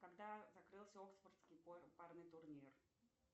когда закрылся оксфордский парный турнир